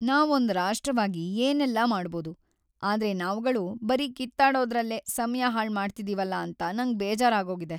ನಾವೊಂದ್ ರಾಷ್ಟ್ರವಾಗಿ ಏನೆಲ್ಲಾ ಮಾಡ್ಬೋದು, ಆದ್ರೆ ನಾವ್ಗಳು ಬರೀ ಕಿತ್ತಾಡೋದ್ರಲ್ಲೇ ಸಮಯ ಹಾಳ್‌ ಮಾಡ್ತಿದೀವಲ ಅಂತ ನಂಗ್ ಬೇಜಾರಾಗೋಗಿದೆ.